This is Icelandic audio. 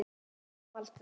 Hvenær kom aldrei.